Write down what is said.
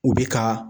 U bɛ ka